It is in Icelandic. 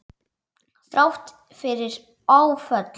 Þrátt fyrir áföll.